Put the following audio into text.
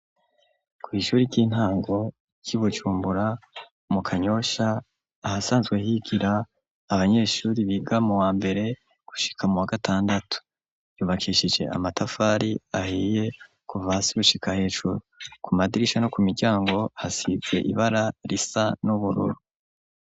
Kw'ishuri ry'intango ry'i Bujumbura, mu Kanyosha, ahasanzwe higira abanyeshuri biga mu wa mbere, gushika mu wa gatandatu. Yubakishije amatafari ahiye, kuva hasi gushika hejuru. Ku madirisha no ku miryango, hasize ibara risa n'ubururu.